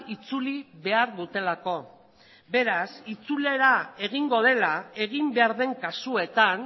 itzuli behar dutelako beraz itzulera egingo dela egin behar den kasuetan